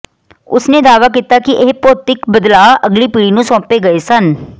ਉਸ ਨੇ ਦਾਅਵਾ ਕੀਤਾ ਕਿ ਇਹ ਭੌਤਿਕ ਬਦਲਾਅ ਅਗਲੀ ਪੀੜ੍ਹੀ ਨੂੰ ਸੌਂਪੇ ਗਏ ਸਨ